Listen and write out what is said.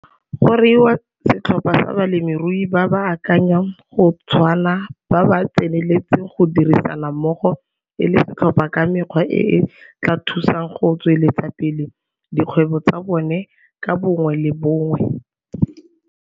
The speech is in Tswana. Go reiwa setlhopha sa balemirui ba ba akanyang go tshwana ba ba tseneletseng go dirisana mmogo e le setlhopha ka mekgwa e e tla thusang go tsweleletsa pele dikgwebo tsa bone ka bongwe le bongwe.